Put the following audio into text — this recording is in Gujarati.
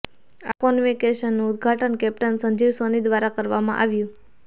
આ કોન્વોકેશનનું ઉદ્દઘાટન કેપ્ટ્ન સંજીવ સોની દ્વારા કરવામાં આવ્યું